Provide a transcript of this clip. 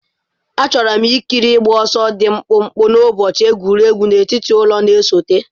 Achọrọ m ikiri ịgba ọsọ dị mkpụmkpụ n'ụbọchị egwuregwu n'etiti ụlọ na-esote.